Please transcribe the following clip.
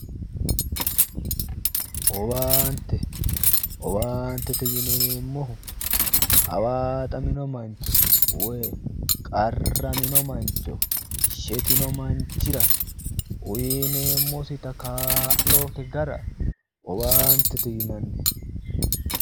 Owaante, owaantete yinneemmohu hawaaxamino mancho woyi qarramino mancho shetino manchira uyineemmoitta kaa'lote gara owaantete yinnanni